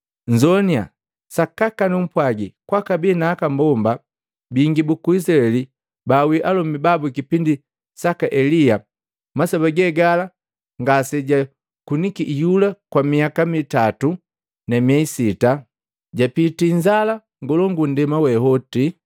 Nnzoannya! Sakaka numpwagi kwakabi na aka mbomba bingi buku Izilaeli baawii alomi babu kipindi saka Elia. Masoba ge gala ngasejakuniki iyula kwa miyaka mitato na mieyi sita, japitii inzala ngolongu nndema we woti.